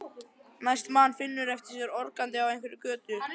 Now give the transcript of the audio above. Næst man Finnur eftir sér organdi á einhverri götu.